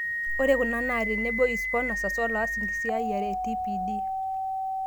Ore kuna naa tenebo, isponsas, oloas enkisiayiare e TPD.